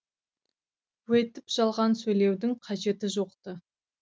өйтіп жалған сөйлеудің қажеті жоқ ты